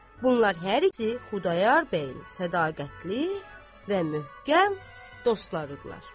Bunlar hər ikisi Xudayar bəyin sədaqətli və möhkəm dostları idilər.